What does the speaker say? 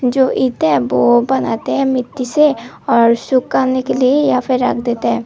जो ईंटे वो बनाते हैं मिट्टी से और सुखाने के लिए यहाँ पे रख देते है।